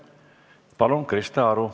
Palun, Krista Aru!